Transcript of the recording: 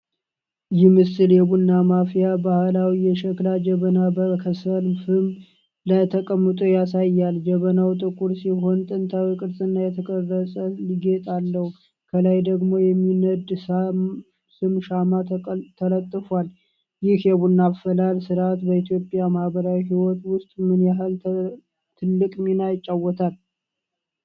ይህ ምስል የቡና ማፍያ ባህላዊ የሸክላ ጀበና በከሰል ፍም ላይ ተቀምጦ ያሳያል። ጀበናው ጥቁር ሲሆን፣ ጥንታዊ ቅርጽና የተቀረጸ ጌጥ አለው፤ ከላይ ደግሞ የሚነድ ሰም (ሻማ) ተለጥፏል። ይህ የቡና አፈላል ሥርዓት በኢትዮጵያ ማህበራዊ ሕይወት ውስጥ ምን ያህል ትልቅ ሚና ይጫወታል?